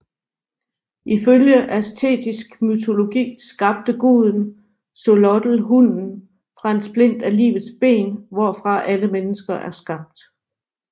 Ifølge aztekisk mytologi skabte guden Xolotl hunden fra en splint af livets ben hvorfra alle mennesker er skabt